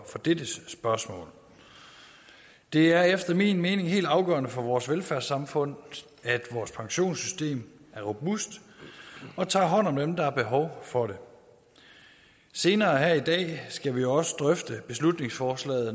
dette spørgsmål det er efter min mening helt afgørende for vores velfærdssamfund at vores pensionssystem er robust og tager hånd om dem der har behov for det senere her i dag skal vi også drøfte beslutningsforslag